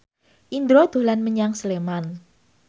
Indro dolan menyang Sleman